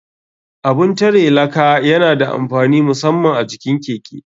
Abun tare laka yana da amfani musaman a jikin keke.